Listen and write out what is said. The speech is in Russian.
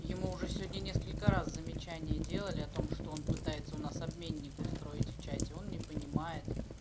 ему уже сегодня несколько раз замечание делали о том что он пытается у нас обменник устроить в чате он не понимает